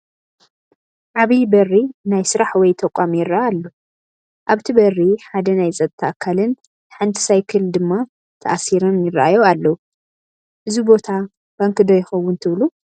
ዓብይ በሪ ናይ ስራሕ ወይ ተቋም ይረአ ኣሎ፡፡ ኣብቲ በሪ ሓደ ናይ ፀጥታ ኣካልን ሓንቲ ሳይክል ድማ ተኣሲራን ይራኣዩ ኣለው፡፡ እዚ ቦታ ባንኪ ዶ ይኸውን ትብሉ?